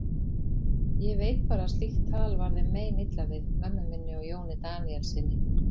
Ég veit bara að slíkt tal var þeim meinilla við, mömmu minni og Jóni Daníelssyni.